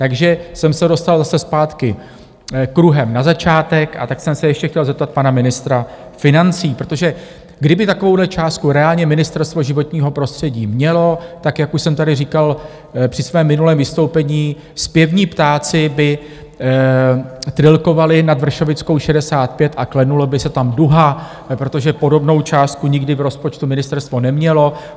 Takže jsem se dostal zase zpátky kruhem na začátek, a tak jsem se ještě chtěl zeptat pana ministra financí, protože kdyby takovou částku reálně Ministerstvo životního prostředí mělo, tak, jak už jsem tady říkal při svém minulém vystoupení, zpěvní ptáci by trylkovali nad Vršovickou 65 a klenula by se tam duha, protože podobnou částku nikdy v rozpočtu ministerstvo nemělo.